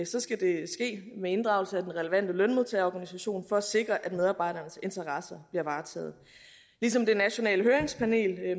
skal det ske med inddragelse af den relevante lønmodtagerorganisation for at sikre at medarbejdernes interesser bliver varetaget ligesom det nationale høringspanel